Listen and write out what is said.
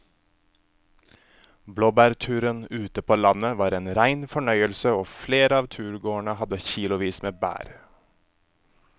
Blåbærturen ute på landet var en rein fornøyelse og flere av turgåerene hadde kilosvis med bær.